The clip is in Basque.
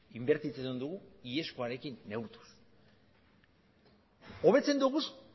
inbertitzen dugu iazkoarekin neurtuz hobetzen ditugu